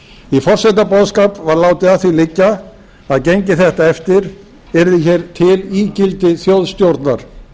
í forsetaboðskap var látið að því liggja að gengi þetta eftir yrði hér til ígildi þjóðstjórnar